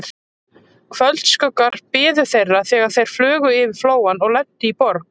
Kvöldskuggar biðu þeirra, þegar þeir flugu yfir Flóann og lentu í Borg